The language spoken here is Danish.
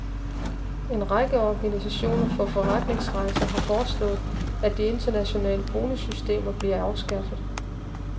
En række organisationer for forretningsrejser har foreslået, at de internationale bonussystemer bliver afskaffet.